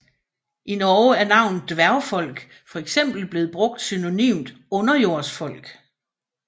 I Norge er navnet Dvergefolk fx blevet brugt synonymt Underjordsfolk